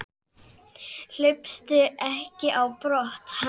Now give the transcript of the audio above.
Hlaupstu ekki á brott- hann mun ekki ráðast á þig.